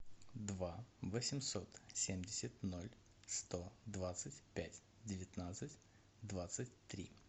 два восемьсот семьдесят ноль сто двадцать пять девятнадцать двадцать три